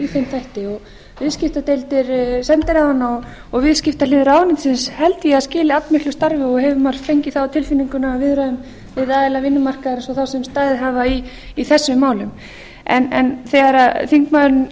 þætti viðskiptadeildir sendiráðanna og viðskiptahlið ráðuneytisins held ég að skili allmiklu starfi og hefur maður fengið það á tilfinninguna af viðræðum við aðila vinnumarkaðarins og þá sem staðið hafa í þessum málum en þegar þingmaðurinn